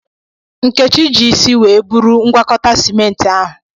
Nkechi ji isi were buru ngwakọta simenti ahụ.